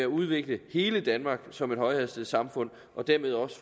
udvikle hele danmark som et højhastighedssamfund og dermed også